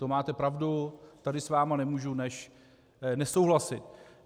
To máte pravdu, tady s vámi nemůžu než nesouhlasit.